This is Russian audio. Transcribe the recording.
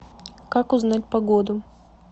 как узнать погоду